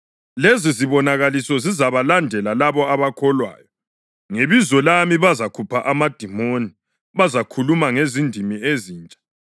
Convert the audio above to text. Lezizibonakaliso zizabalandela labo abakholwayo: Ngebizo lami bazakhupha amadimoni; bazakhuluma ngendimi ezintsha;